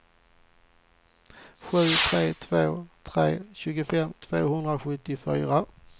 sju tre två tre tjugofem tvåhundrasjuttiofyra